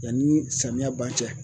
Yanni samiya ban cɛ.